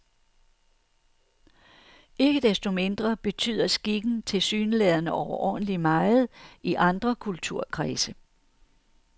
Ikke desto mindre betyder skikken tilsyneladende overordentlig meget i andre kulturkredse.